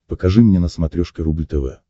покажи мне на смотрешке рубль тв